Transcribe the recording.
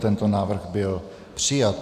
Tento návrh byl přijat.